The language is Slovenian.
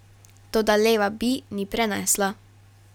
Toda Leva Bea ni prenesla.